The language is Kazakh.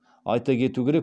айта кету керек